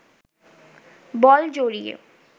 বল জড়িয়ে